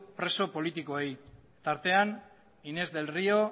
preso politikoei tartean inés del río